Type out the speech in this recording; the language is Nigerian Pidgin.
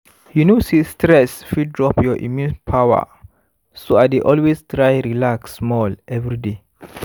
you know say stress fit drop your immune power so i dey always try relax small every day